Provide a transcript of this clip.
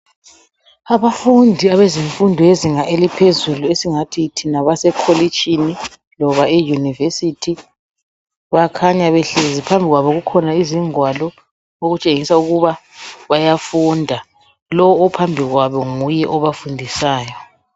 Abafundi abezemfundo yezinga eliphezulu esingathi thina basekolitshini loba e university bakhanya behlezi phambi kwabo kukhona izingwalo okutshengisa ukuba bayafunda lo ophambi kwabo nguye obafundisayo